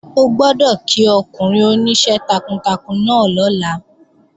O gbọ́dọ̀ kí ọkùnrin oníṣẹ́ takuntakun náà lọ́la!